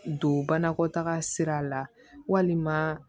Don banakɔtaga sira la walima